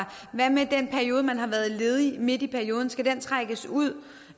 hvad med den periode man har været ledig midt i perioden skal den trækkes ud